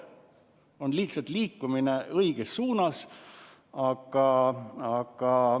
On lihtsalt liikumine õiges suunas.